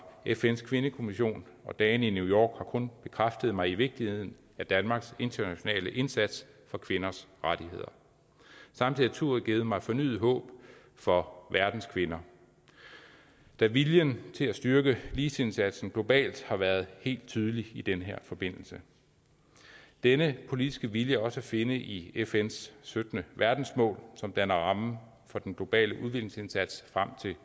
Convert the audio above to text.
fns kvindekommission og dagene i new york har kun bekræftet mig i vigtigheden af danmarks internationale indsats for kvinders rettigheder samtidig har turen givet mig fornyet håb for verdens kvinder da viljen til at styrke ligestillingsindsatsen globalt har været helt tydelig i den her forbindelse denne politiske vilje er også at finde i fns sytten verdensmål som danner rammen for den globale udviklingsindsats frem til